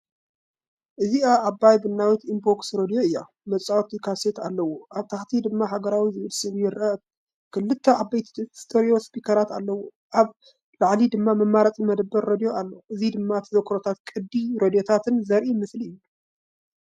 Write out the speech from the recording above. እዚኣ ዓባይ ቡናዊት ቡምቦክስ ሬድዮ እያ። መጻወቲ ካሴት ኣለዎ፡ኣብ ታሕቲ ድማ "ሃገራዊ" ዝብል ስም ይርአ። ክልተ ዓበይቲ ስቴሪዮ ስፒከራት ኣለዎ፡ ኣብ ላዕሊ ድማ መምረጺ መደበር ሬድዮ ኣሎ። እዚ ድማ ተዘክሮታትን ቅዲ ሬዶታትን ዘርኢ ምስሊ እዩ።